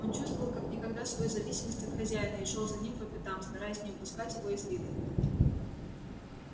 он чувствовал как никогда свою зависимость от хозяина и шёл за ним по пятам стараясь не упускать его из виду